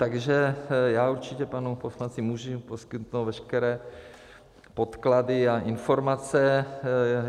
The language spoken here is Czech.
Takže já určitě panu poslanci můžu poskytnout veškeré podklady a informace.